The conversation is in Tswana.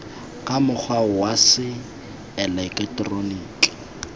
ka mokgwa wa se eleketeroniki